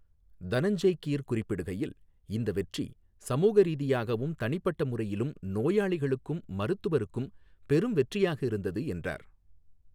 தனஞ்செய் கீர் குறிப்பிடுகையில், இந்த வெற்றி சமூக ரீதியாகவும், தனிப்பட்ட முறையிலும், நோயாளிகளுக்கும், மருத்துவருக்கும் பெரும் வெற்றியாக இருந்தது என்றார்.